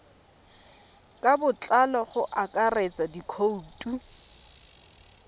ka botlalo go akaretsa dikhoutu